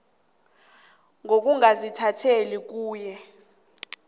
ngokungazithandeli kuye ngokubhadela